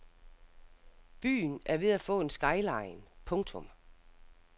Byen er ved at få en skyline. punktum